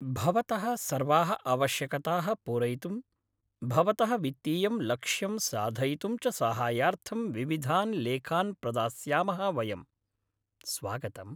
भवतः सर्वाः आवश्यकताः पूरयितुं, भवतः वित्तीयं लक्ष्यं साधयितुं च साहाय्यार्थं विविधान् लेखान् प्रदास्यामः वयम्। स्वागतम्।